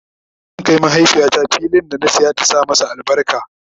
zan Kai mahaifiyata fillin da na saya ta Sa albarka